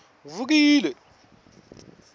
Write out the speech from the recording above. vukile